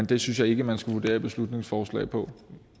det synes jeg ikke man skulle vurdere beslutningsforslag på